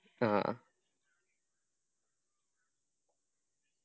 ആ